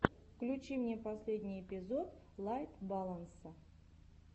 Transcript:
включи мне последний эпизод лайт баланса